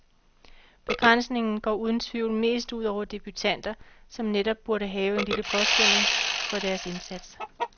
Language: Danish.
Begrænsningen går uden tvivl mest ud over debutanter, som netop burde have en lille påskønning for deres indsats.